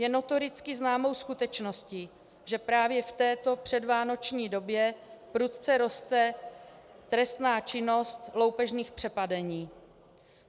Je notoricky známou skutečností, že právě v této předvánoční době prudce roste trestná činnost loupežných přepadení.